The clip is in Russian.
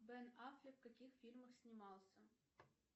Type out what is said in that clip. бен аффлек в каких фильмах снимался